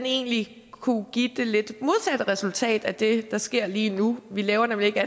egentlig kunne give det lidt modsatte resultat af det der sker lige nu vi laver nemlig ikke